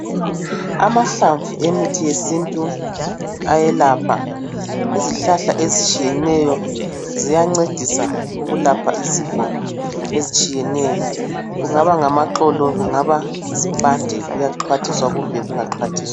Amahlamvu emithi yesintu ayelapha izihlahla ezitshiyeneyo siyancedisa ukulapha izifo etshiyeneyo kungaba ngamaxolo kumbe zimpande kuyaxhwathiswa kumbe kungaxhwathiswa.